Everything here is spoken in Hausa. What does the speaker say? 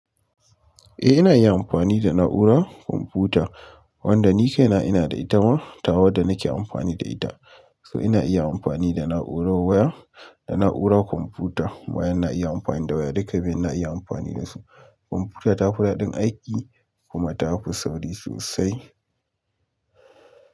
Eh ina iya amfani da na'urar kwamfuta wanda ni kaina ina da ita ma ta wadda nake amfani da ita. So ina iya amfani da na'urar waya da na'urar kwamfuta. Wayan na iya amfani da waya duka biyun na iya amfani dasu. Kwamfuta ta fi daɗin aiki kuma ta fi sauri sosai.